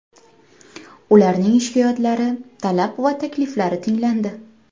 Ularning shikoyatlari, talab va takliflari tinglandi.